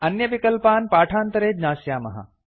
अन्यविकल्पान् पाठान्तरे ज्ञास्यामः